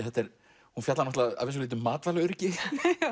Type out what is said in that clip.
hún fjallar að vissu leyti um matvælaöryggi já